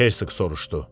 Herseq soruşdu.